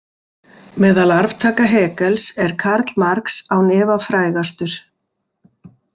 Meðal arftaka Hegels er Karl Marx án efa frægastur.